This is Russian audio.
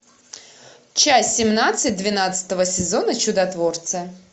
часть семнадцать двенадцатого сезона чудотворцы